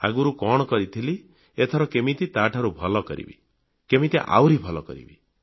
ଆଗରୁ କଣ କରିଥିଲି ଏଥର କେମିତି ତାଠାରୁ ଭଲ କରିବି କେମିତି ଆହୁରି ଭଲ କରିବି